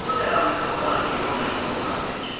Razılıq əlaməti olaraq İona cilovları tez çəkir.